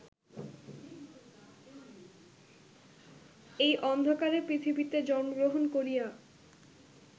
এই অন্ধকারে পৃথিবীতে জন্মগ্রহণ করিয়া